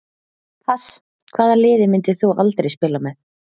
pass Hvaða liði myndir þú aldrei spila með?